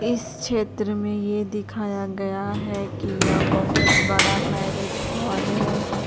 इस क्षेत्र में यह दिखाया गया है किया बहुत बड़ा मैरिज हॉल है।